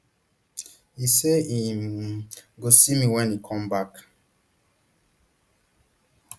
e say im um go see me wen e come back